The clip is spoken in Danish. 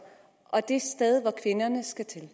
og det sted hvor kvinderne skal til